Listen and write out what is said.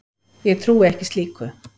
Ég trúi ekki slíku.